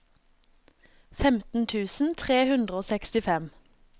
femten tusen tre hundre og sekstifem